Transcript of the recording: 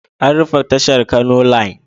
An rufe tashar Kano Line.